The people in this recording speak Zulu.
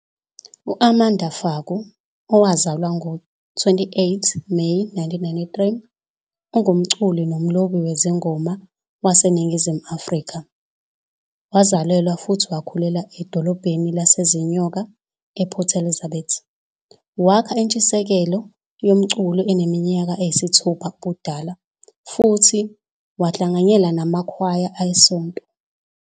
U-Amanda Faku, owazalwa ngo-28 Meyi 1993, ungumculi nomlobi wezingoma waseNingizimu Afrika. Wazalelwa futhi wakhulela edolobheni laseZinyoka, ePort Elizabeth, wakha intshisekielo yomculo eneminyaka engu-6 ubudala futhi wahlanganyela namakhwaya esonto.